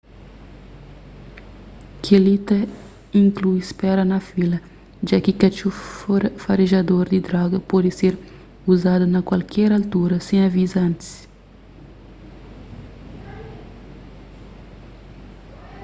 kel-li ta inklui spera na fila ja ki katxor farejador di droga pode ser uzadu na kualker altura sen aviza antis